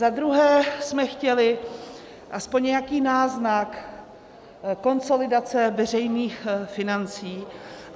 Za druhé jsme chtěli aspoň nějaký náznak konsolidace veřejných financí.